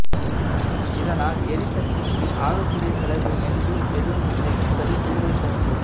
இதனால் எரிசக்திக்கு ஆகக்கூடிய செலவு என்று எதுவுமில்லை என்பது கூடுதல் சிறப்பு